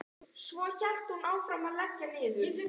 Svo hélt hún áfram að leggja niður.